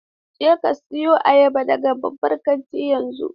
Je ka siyo ayaba daga babban kantin yanzu!